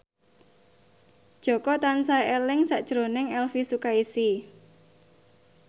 Jaka tansah eling sakjroning Elvy Sukaesih